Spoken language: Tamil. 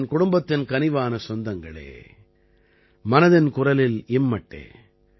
என் குடும்பத்தின் கனிவான சொந்தங்களே மனதின் குரலில் இம்மட்டே